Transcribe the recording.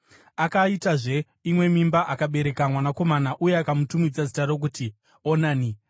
Akaitazve imwe mimba akabereka mwanakomana uye akamutumidza zita rokuti Onani.